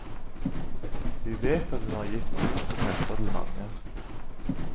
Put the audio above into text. Vi vet at hun har gitt mot og krefter til mange.